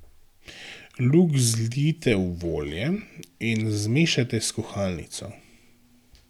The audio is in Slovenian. Lug zlijte v olje in zmešajte s kuhalnico.